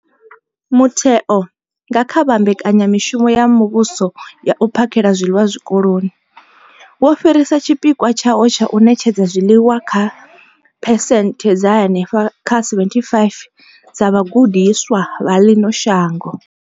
Mutheo, nga kha Mbekanya mushumo ya Muvhuso ya U phakhela zwiḽiwa Zwikoloni, wo fhirisa tshipikwa tshawo tsha u ṋetshedza zwiḽiwa kha phesenthe dza henefha kha 75 dza vhagudiswa vha ḽino shango.